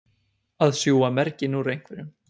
Að sjúga merginn úr einhverjum